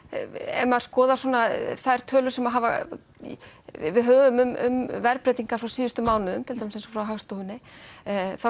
ef maður skoðar þær tölur sem að við höfum um verðbreytingar frá síðustu mánuðum til dæmis eins og frá Hagstofunni þá